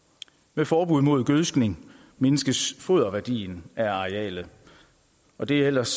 med forbud mod gødskning mindskes foderværdien af arealet og det er ellers